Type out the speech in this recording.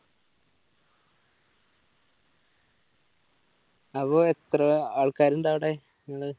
അപ്പോ എത്ര ആൾക്കാർ ഉണ്ടവിടെ നിങ്ങളെ